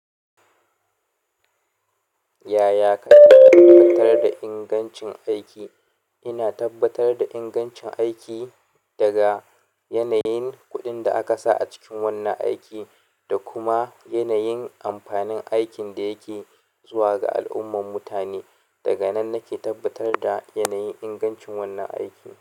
Yaya kake tabbatar da ingancin aiki? Ina tabbatar da ingancin aiki daga yanayin kuɗin da aka sa a cikin wannan aiki da kuma yanayin amfanin aikin da yake zuwa ga al'umman mutane. Daga nan nake tabbatar da yanayin ingancin wannan aiki.